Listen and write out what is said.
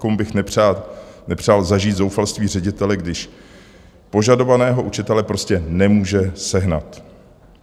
Nikomu bych nepřál zažít zoufalství ředitele, když požadovaného učitele prostě nemůže sehnat.